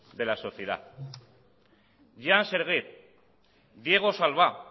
de la sociedad jean serge diego salvá